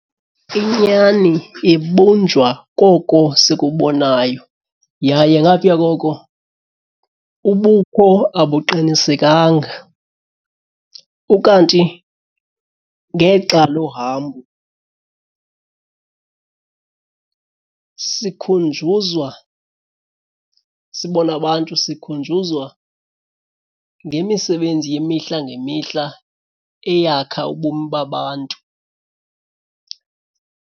Inyani ibunjwa koko sikubonayo yaye ngapha koko ubukho abuqinisekanga. Ukanti ngexa lohambo sikhunjuzwa, sibone abantu sikhunjuzwa ngemisebenzi yemihla ngemihla eyakha ubomi babantu.